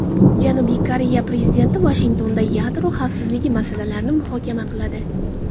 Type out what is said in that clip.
Janubiy Koreya prezidenti Vashingtonda yadro xavfsizligi masalalarini muhokama qiladi.